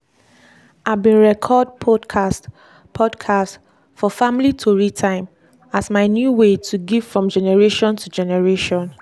i bin record podcast podcast for family tori time as my new way to give from generation to generation.